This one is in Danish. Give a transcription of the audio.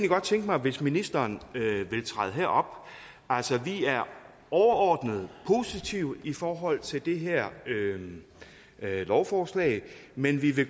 godt tænke mig hvis ministeren vil træde herop altså vi er overordnet positive i forhold til det her lovforslag men vi vil